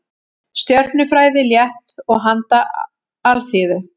Stjörnufræði, létt og handa alþýðu.